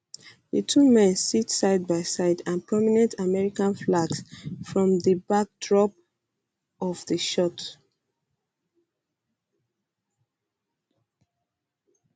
di two men sit side by side and prominent american flags form di backdrop of di shot